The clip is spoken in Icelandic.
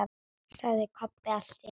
sagði Kobbi allt í einu.